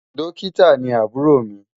Dọ́kítà ni àbúrò mi